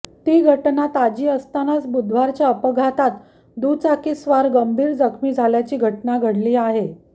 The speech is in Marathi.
ती घटना ताजी असतानाच बुधवारच्या अपघातात दुचाकीस्वार गंभीर जखमी झाल्याची घटना घडली आहे